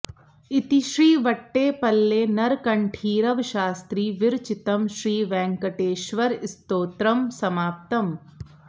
इति श्री वट्टेपल्ले नरकण्ठीरव शास्त्रि विरचितम् श्री वेङ्कटेश्वरस्तोत्रं समाप्तम्